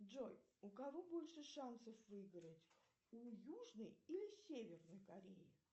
джой у кого больше шансов выиграть у южной или северной кореи